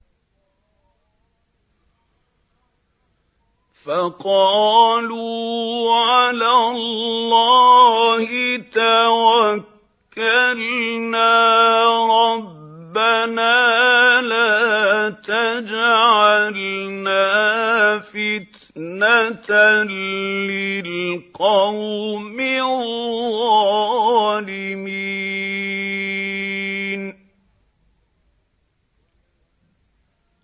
فَقَالُوا عَلَى اللَّهِ تَوَكَّلْنَا رَبَّنَا لَا تَجْعَلْنَا فِتْنَةً لِّلْقَوْمِ الظَّالِمِينَ